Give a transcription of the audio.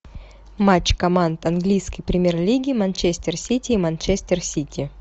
матч команд английской премьер лиги манчестер сити и манчестер сити